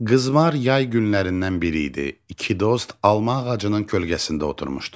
Qızmar yay günlərindən biri idi, iki dost alma ağacının kölgəsində oturmuşdu.